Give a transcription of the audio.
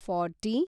forty